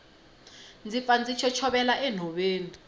ndzi pfa ndzi chochovela enhoveni